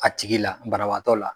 A tigi la barawaatɔ la